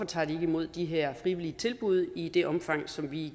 tager imod de her frivillige tilbud i det omfang som vi